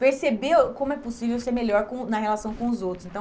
Perceber como é possível ser melhor com na relação com os outros. Então